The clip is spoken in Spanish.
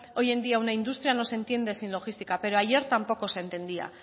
hoy en día una industria no se entiende sin logística pero ayer tampoco se entendía